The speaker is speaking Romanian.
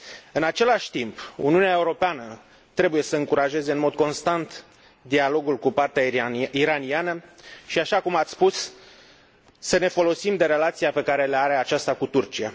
În același timp, Uniunea Europeană trebuie să încurajeze în mod constant dialogul cu partea iraniană, și, așa cum ați spus, să ne folosim de relația pe care aceasta o are cu Turcia.